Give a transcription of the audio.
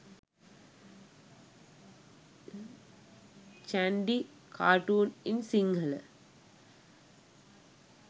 chandy cartoon in sinhala